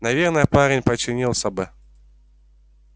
наверное парень подчинился бы